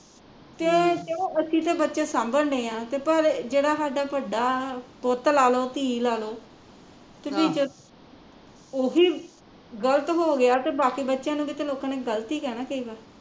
ਕਿ ਚਲੋ ਅਸੀਂ ਤਾਂ ਬੱਚੇ ਸਾਂਭਣ ਡਏ ਆ ਕਿ ਪਰ ਜਿਹੜਾ ਸਾਡਾ ਵੱਡਾ, ਪੁੱਤ ਲਾਲੋ ਧੀ ਲਾਲੋ ਉਹ ਹੀਂ ਗਲਤ ਹੋਗਿਆ ਤੇ ਬਾਕੀ ਬੱਚਿਆ ਨੂ ਵੀ ਲੋਕਾਂ ਨੇ ਗਲਤ ਹੀਂ ਕਹਿਣਾ